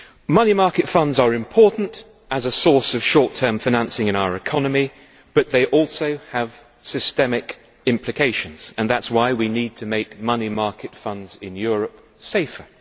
Money market funds are important as a source of short term financing in our economy, but they also have systemic implications and that is why we need to make money market funds in Europe safer.